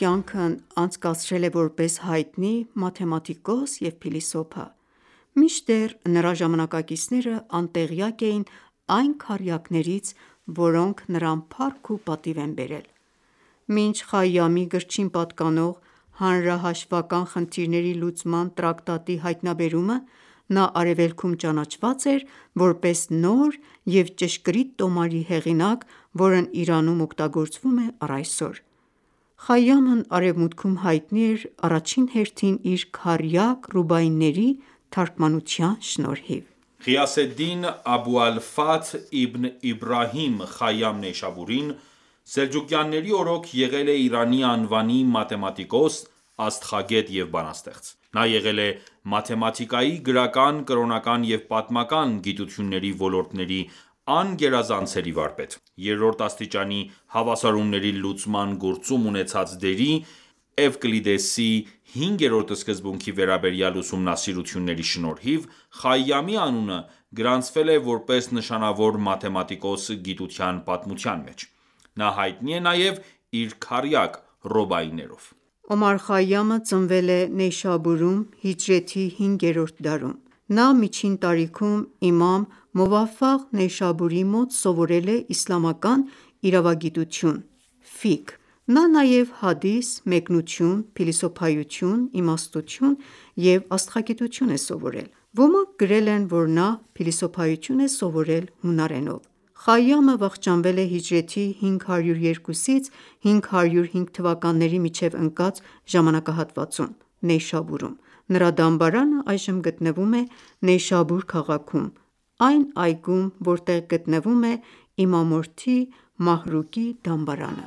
կյանքն անցկացրել է որպես հայտնի մաթեմատիկոս և փիլիսոփա, մինչդեռ նրա ժամանակակիցները անտեղյակ էին այն քառյակներից, որոնք նրան փառք ու պատիվ են բերել։ Մինչ Խայամի գրչին պատկանող «Հանրահաշվական խնդիրների լուծման տրակտատ»-ի հայտնաբերումը, նա արևելքում ճանաչված էր, որպես նոր և ճշգրիտ տոմարի հեղինակ, որն Իրանում օգտագործվում է առ այսօր։ Նա արևմուտքում հայտնի էր առաջին հերթին իր քառյակ՝ ռուբայիների թարգմանության շնորհիվ։ Ղիյասեդդին Աբու ալ-Ֆաթհ իբն Իբրահիմ Խայամ Նեյշաբուրին սելջուկյանների օրոք եղել է Իրանի անվանի մաթեմատիկոս, աստղագետ և բանաստեղծ։ Նա եղել է մաթեմատիկայի, գրական, կրոնական և պատմական գիտությունների ոլորտների անգերազանցելի վարպետ։ Երրորդ աստիճանի հավասարումների լուծման գործում ունեցած դերի և Էվկլիդեսի հինգերորդ սկզբունքի վերաբերյալ ուսումնասիրությունների շնորհիվ Խայյամի անունը գրանցվել է որպես նշանավոր մաթեմատիկոս գիտության պատմության մեջ: Նա հայտնի է նաև իր քառյակ ռուբայիներով։ Օմար Խայամը ծնվել է Նեյշաբուրում հիջրեթի հինգերորդ դարում (մ.թ. 11-րդ դարում): Նա միջին տարիքում իմամ Մուվաֆաղ Նեյշաբուրիի մոտ սովորել է իսլամական իրավագիտություն՝ ֆիկհ։ Նա նաև հադիս, մեկնություն, փիլիսոփայություն, իմաստություն և աստղագիտություն: Ոմանք գրել են, որ նա փիլիսոփայություն է սովորել հունարենով: Խայամը վախճանվել է հիջրեթի 502-505 թվականների միջև ընկած ժամանակահատվածում (մ.թ.12-րդ դարի սկիզբ) Նեյշաբուրում: Նրա դամբարանը այժմ գտնվում է Նեյշաբուր քաղաքում՝ այն այգում, որտեղ գտնվում է իմամորդի Մահրուկի դամբարանը։ Հեքիմ Օմար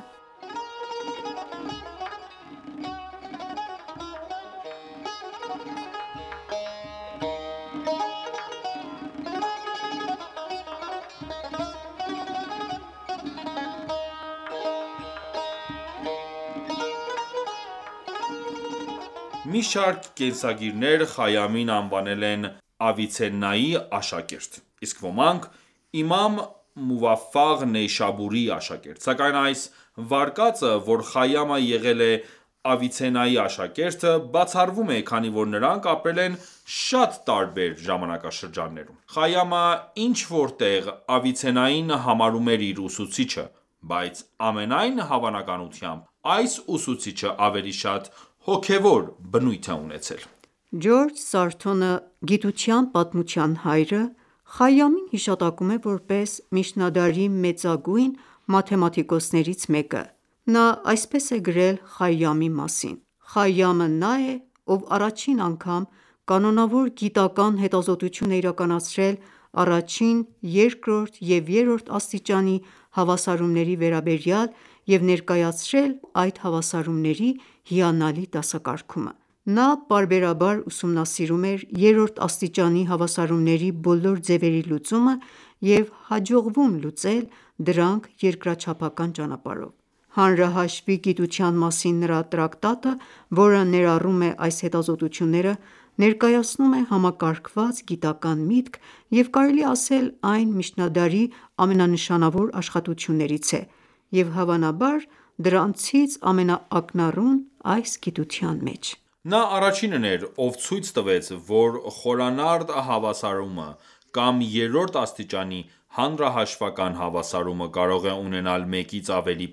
Խայամ Մի շարք կենսագիրներ Խայամին անվանել են Ավիցեննայի աշակերտ, իսկ ոմանք՝ Իմամ Մուվաֆաղ Նեյշաբուրիի աշակերտ, սակայն այս վարկածը որ Խայամը եղել է Ավիցեննայի աշակերտը, բացառվում է, քանի որ նրանք ապրել են շատ տարբեր ժամանակաշրջաններում: Խայամը ինչ-որ տեղ Ավիցեննային համարում է իր ուսուցիչը, բայց, ամենայն հավանականությամբ, այս ուսուցիչը ավելի շատ հոգևոր բնույթ է ունեցել: Ջորջ Սարթոնը՝ գիտության պատմության հայրը, Խայամին հիշատակում է որպես միջնադարի մեծագույն մաթեմատիկոսներից մեկը: Նա այսպես է գրել Խայամի մասին.«Խայամը նա է, ով առաջին անգամ կանոնավոր գիտական ​​հետազոտություն է իրականացրել առաջին, երկրորդ և երրորդ աստիճանի հավասարումների վերաբերյալ և ներկայացրել այդ հավասարումների հիանալի դասակարգումը։ Նա պարբերաբար ուսումնասիրում էր երրորդ աստիճանի հավասարումների բոլոր ձևերի լուծումը և հաջողվում լուծել դրանք երկրաչափական ճանապարհով։ Հանրահաշվի գիտության մասին նրա տրակտատը, որը ներառում է այս հետազոտությունները, ներկայացնում է համակարգված գիտական ​​միտք,և կարելի է ասել այն միջնադարի ամենանշանավոր աշխատություններից է և, հավանաբար, դրանցից ամենաակնառուն այս գիտության մեջ: Նա առաջինն էր, ով ցույց տվեց, որ խորանարդ հավասարումը կամ երրորդ աստիճանի հանրահաշվական հավասարումը կարող է ունենալ մեկից ավելի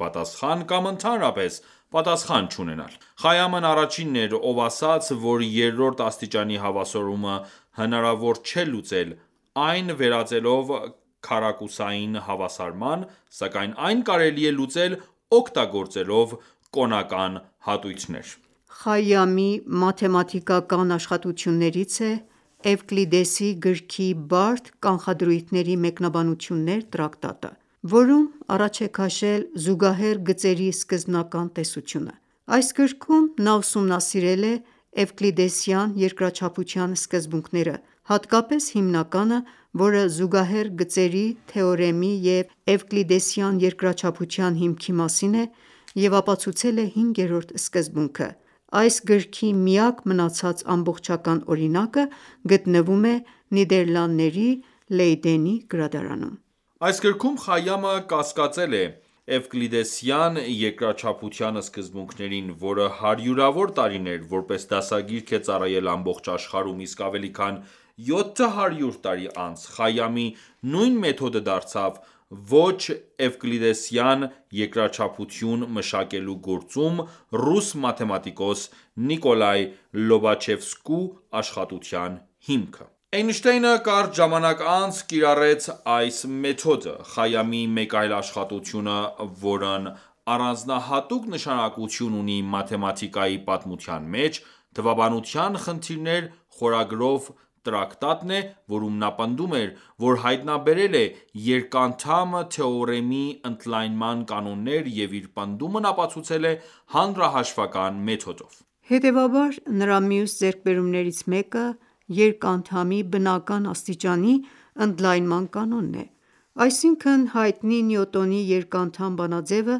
պատասխան կամ ընդհանրապես պատասխան չունենալ: Խայամն առաջինն էր, ով ասաց, որ երրորդ աստիճանի հավասարումը հնարավոր չէ լուծել՝ այն վերածելով քառակուսային հավասարման, սակայն այն կարելի է լուծել՝ օգտագործելով կոնական հատույթներ։ Խայամի մաթեմատիկական աշխատություններից է «Էվկլիդեսի գրքի բարդ կանխադրույթների մեկնաբանություններ» տրակտատը, որում առաջ է քաշել զուգահեռ գծերի սկզբնական տեսությունը։ Այս գրքում նա ուսումնասիրել է էվկլիդեսյան երկրաչափության սկզբունքները, հատկապես հիմնականը, որը զուգահեռ գծերի թեորեմի և էվկլիդեսյան երկրաչափության հիմքի մասին է, և ապացուցել է հինգերորդ սկզբունքը։ Այս գրքի միակ մնացած ամբողջական օրինակը գտնվում է Նիդեռլանդների Լեյդենի գրադարանում: Այս գրքում Խայամը կասկածել է էվկլիդեսյան երկրաչափության սկզբունքներին, որը հարյուրավոր տարիներ, որպես դասագիրք է ծառայել ամբողջ աշխարհում, իսկ ավելի քան 700 տարի անց Խայամի նույն մեթոդը դարձավ ոչ-էվկլիդեսյան երկրաչափություն մշակելու գործում ռուս մաթեմատիկոս Նիկոլայ Լոբաչևսկու աշխատության հիմքը։ Էյնշտեյնը կարճ ժամանակ անց կիրառեց այս մեթոդը: Խայամի մեկ այլ աշխատությունը, որն առանձնահատուկ նշանակություն ունի մաթեմատիկայի պատմության մեջ, «Թվաբանության խնդիրներ» խորագրով տրակտատն է,որում նա պնդում էր, որ հայտնաբերել է երկանդամ թեորեմի ընդլայնման կանոններ և իր պնդումն ապացուցել է հանրահաշվական մեթոդով։ Հետևաբար, նրա մյուս ձեռքբերումներից մեկը երկանդամի բնական աստիճանի ընդլայնման կանոնն է, այսինքն՝ հայտնի Նյուտոնի երկանդամ բանաձևը,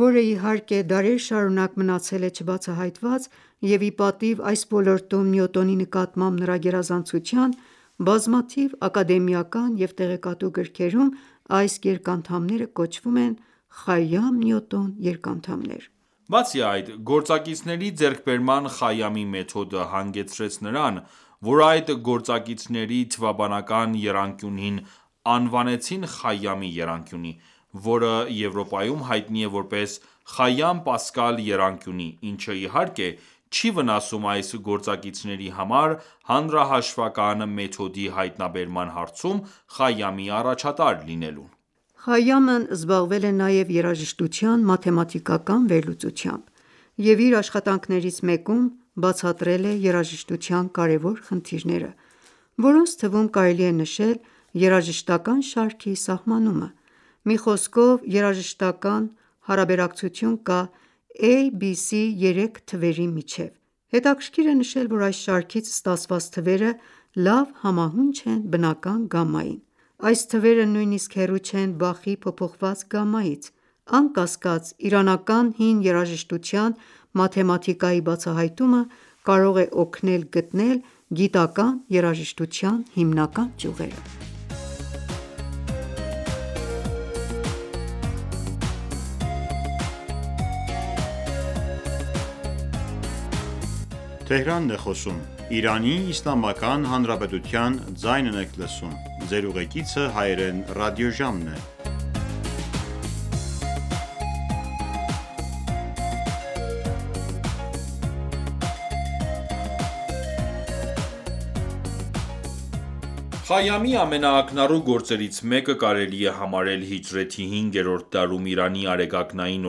որը, իհարկե, դարեր շարունակ մնացել է չբացահայտված, և ի պատիվ այս ոլորտում Նյուտոնի նկատմամբ նրա գերազանցության, բազմաթիվ ակադեմիական և տեղեկատու գրքերում այս երկանդամները կոչվում են «Խայամ-Նյուտոն երկանդամներ»։ Բացի այդ, գործակիցների ձեռքբերման Խայամի մեթոդը հանգեցրեց նրան, որ այդ գործակիցների թվաբանական եռանկյունին անվանեցին Խայամի եռանկյունի, որը Եվրոպայում հայտնի է որպես «Խայամ-Պասկալ եռանկյունի», ինչը, իհարկե, չի վնասում այս գործակիցների համար հանրահաշվական մեթոդի հայտնաբերման հարցում Խայամի առաջատար լինելուն։ Խայամն զբաղվել է նաև երաժշտության մաթեմատիկական վերլուծությամբ և իր աշխատանքներից մեկում բացատրել է երաժշտության կարևոր խնդիրները, որոնց թվում կարելի է նշել երաժշտական ​​շարքի սահմանումը։ Մի խոսքով, երաժշտական ​​հարաբերակցություն կա a, b, c, երեք թվերի միջև։ Հետաքրքիր է նշել, որ այս շարքից ստացված թվերը լավ համահունչ են բնական գամմային ։ Այս թվերը նույնիսկ հեռու չեն Բախի փոփոխված գամմայից: Անկասկած, իրանական հին երաժշտության մաթեմատիկայի բացահայտումը կարող է օգնել գտնել գիտական ​​երաժշտության հիմնական ճյուղերը։ Հեքիմ Օմար Խայամի դամբարանը Նեյշաբուր քաղաքում Խայամի ամենաակնառու գործերից մեկը կարելի է համարել հիջրեթի հինգերորդ դարում Իրանի արեգակնային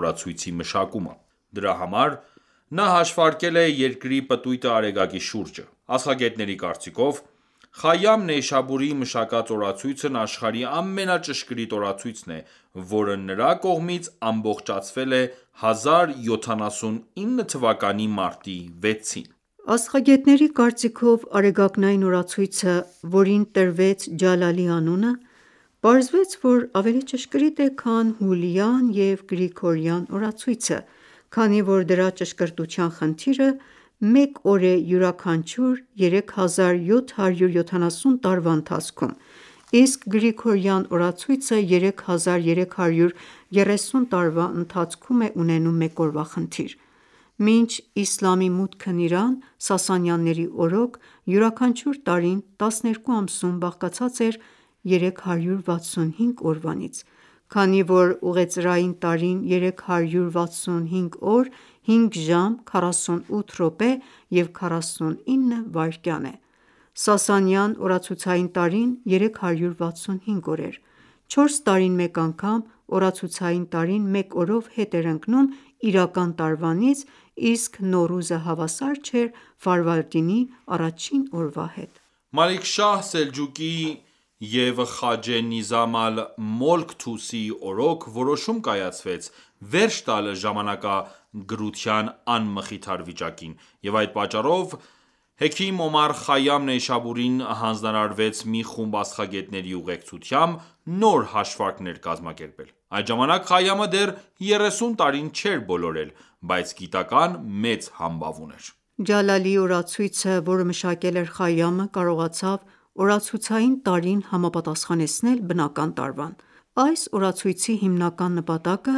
օրացույցի մշակումը։ Դրա համար նա հաշվարկել է Երկրի պտույտը Արեգակի շուրջը։ Աստղագետների կարծիքով՝ Խայամ Նեյշաբուրիի մշակած օրացույցն աշխարհի ամենաճշգրիտ օրացույցն է ,որը նրա կողմից ամբողջացվել է 1079 թվականի մարտի 6-ին։ Աստղագետների կարծիքով արեգակնային օրացույցը, որին տրվեց «Ջալալի» անունը, պարզվեց, որ ավելի ճշգրիտ է, քան հուլյան և գրիգորյան օրացույցը, քանի որ դրա ճշգրտության խնդիրը մեկ օր է յուրաքանչյուր 3770 տարվա ընթացքում, իսկ Գրիգորյան օրացույցը 3330 տարվա ընթացքում է ունենում մեկ օրվա խնդիր։ Մինչ Իսլամի մուտքն Իրան, Սասանյանների օրոք (226-652 թթ.), յուրաքանչյուր տարին 12 ամսում բաղկացած էր 365 օրվանից: Քանի որ ուղեծրային տարին 365 օր, 5 ժամ, 48 րոպե և 49 վայրկյան է: Սասանյան օրացուցային տարին 365 օր էր, 4 տարին մեկ անգամ, օրացուցային տարին մեկ օրով հետ էր ընկնում իրական տարվանից, իսկ Նոռուզը հավասար չէր Ֆարվարդինի առաջին օրվա հետ։ Մալիք Շահ Սելջուկիի (465-485թթ.) և Խաջե Նիզամ ալ-Մոլք Թուսիի օրոք որոշում կայացվեց վերջ տալ ժամանակագրության անմխիթար վիճակին, և այդ պատճառով Հեքիմ Օմար Խայամ Նեյշաբուրիին հանձնարարվեց մի խումբ աստղագետների ուղեկցությամբ, նոր հաշվարկներ կազմակերպել։ Այդ ժամանակ Խայամը դեռ 30 տարին չէր բոլորել, բայց գիտական ​​մեծ համբավ ուներ։ Ջալալիի օրացույցը, որը մշակել էր Խայամը, կարողացավ օրացուցային տարին համապատասխանեցնել բնական տարվան։ Այս օրացույցի հիմնական նպատակը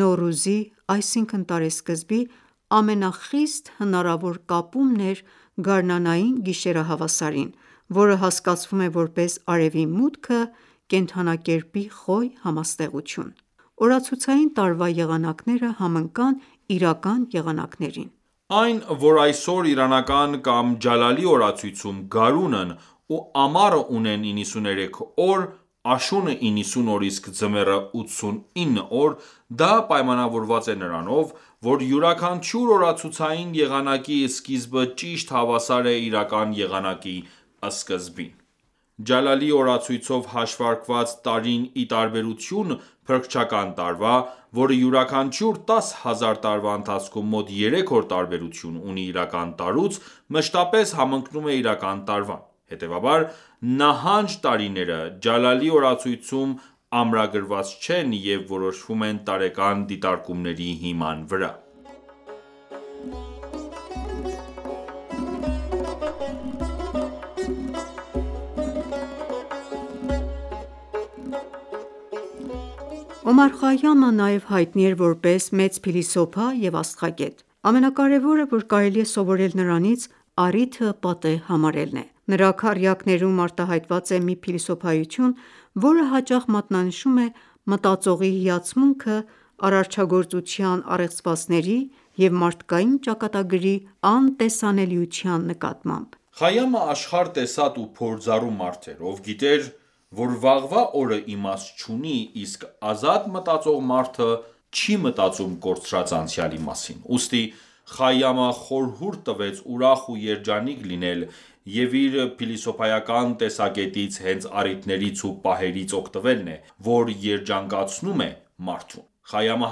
Նոռուզի (այսինքն՝ տարեսկզբի) ամենախիստ հնարավոր կապումն էր գարնանային գիշերահավասարին, որը հասկացվում է որպես Արևի մուտքը Կենդանակերպի Խոյ համաստեղություն։ Օրացուցային տարվա եղանակները համընկան իրական եղանակներին։ Այն, որ այսօր իրանական կամ ջալալի օրացույցում գարունն ու ամառը ունեն 93 օր, աշունը՝ 90 օր, իսկ ձմեռը՝ 89 օր, դա պայմանավորված է նրանով, որ յուրաքանչյուր օրացուցային եղանակի սկիզբը ճիշտ հավասար է իրական եղանակի սկզբին։ Ջալալիի օրացույցով հաշվարկված տարին ի տարբերություն փրկչական տարվա, որը յուրաքանչյուր 10 հազար տարվա ընթացքում մոտ երեք օր տարբերություն ունի իրական տարուց, մշտապես համընկնում է իրական տարվան։ Հետևաբար, նահանջ տարիները Ջալալի օրացույցում ամրագրված չեն և որոշվում են տարեկան դիտարկումների հիման վրա։ Ջալալի օրացույց Օմար Խայամը նաև հայտնի էր որպես մեծ փիլիսոփա և աստղագետ։ Ամենակարևորը, որ կարելի է սովորել նրանից, առիթը պատեհ համարելն է։ Նրա քառյակներում արտահայտված է մի փիլիսոփայություն, որը հաճախ մատնանշում է մտածողի հիացմունքը արարչագործության առեղծվածների և մարդկային ճակատագրի անտեսանելիության նկատմամբ։ Խայամը աշխարհ տեսած ու փորձառու մարդ էր, ով գիտեր, որ վաղվա օրը իմաստ չունի, իսկ ազատ մտածող մարդը չի մտածում կորցրած անցյալի մասին։ Ուստի Խայամը խորհուրդ տվեց ուրախ ու երջանիկ լինել, և իր փիլիսոփայական տեսակետից հենց առիթներից ու պահերից օգտվելն է, որ երջանկացնում է մարդուն։ Խայամը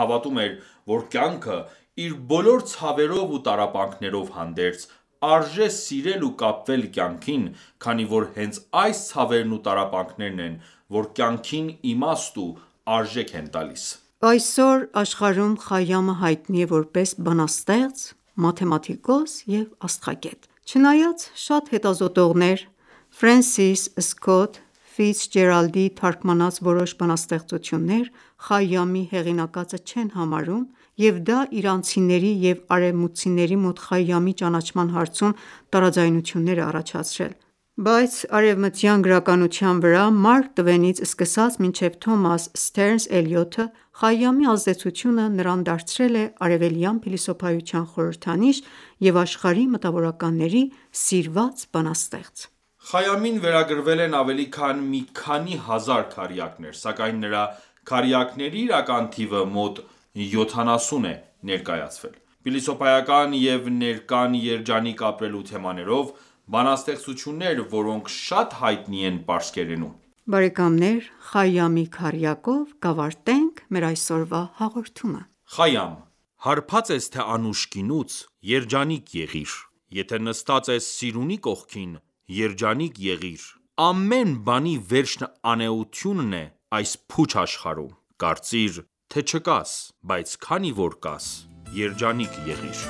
հավատում էր, որ կյանքը՝ իր բոլոր ցավերով ու տառապանքներով հանդերձ, արժե սիրել ու կապվել կյանքին, քանի որ հենց այս ցավերն ու տառապանքներն են ,որ կյանքին իմաստ ու արժեք են տալիս։ Այսօր աշխարհում Խայամը հայտնի է որպես բանաստեղծ, մաթեմատիկոս և աստղագետ։ Չնայած շատ հետազոտողներ Ֆրենսիս Սքոթ թարգմանած որոշ բանաստեղծություններ Խայամի հեղինակածը չեն համարում, և դա իրանցիների և արևմուտքցիների մոտ Խայամի ճանաչման հարցում տարաձայնություններ է առաջացրել։ Բայց արևմտյան գրականության վրա «Մարկ Տվենից» սկսած մինչև Թոմաս Սթերնս Էլիոթ, Խայամի ազդեցությունը նրան դարձրել է արևելյան փիլիսոփայության խորհրդանիշ և աշխարհի մտավորականների սիրված բանաստեղծ։ Խայամին վերագրվել են ավելի քան մի քանի հազար քառյակներ, սակայն նրա քառյակների իրական թիվը մոտ յոթանասուն է ներկայացվել: Փիլիսոփայական և ներկան երջանիկ ապրելու թեմաներով բանաստեղծություններ, որոնք շատ հայտնի են պարսկերենում։ Խայամի քառյակով կավարտենք մեր այսօրվա հաղորդումը։ Խայամ, հարբած ես թե անուշ գինուց,- երջանիկ եղի՛ր, Եթե նստած ես սիրունի կողքին - երջանիկ եղի՛ր, Ամեն բանի վերջն անէությունն է այս փուչ աշխարհում, Կարծիր, թե... չկաս, բայց քանի որ կաս` երջանիկ եղիր: